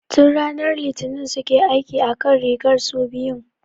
Tun ranar Litinin suke aiki akan rigar su biyun